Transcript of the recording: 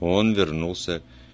он вернулся